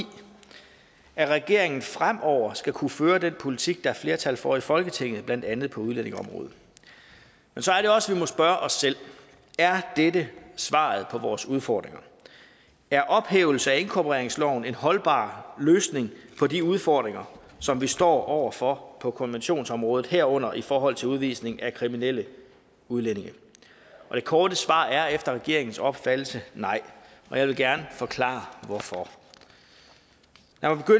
at regeringen fremover skal kunne føre den politik der er flertal for i folketinget blandt andet på udlændingeområdet men så er det også må spørge os selv er dette svaret på vores udfordringer er ophævelse af inkorporeringsloven en holdbar løsning på de udfordringer som vi står over for på konventionsområdet herunder i forhold til udvisning af kriminelle udlændinge det korte svar er efter regeringens opfattelse nej og jeg vil gerne forklare hvorfor